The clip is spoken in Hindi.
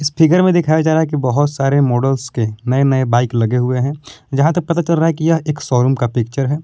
फिगर दिखाया जा रहा है। कि बहुत सारे मॉडलस के नए नए बाइक लगे हुए हैं। जहां तक पता चल रहा है कि यह एक शोरूम का पिक्चर है।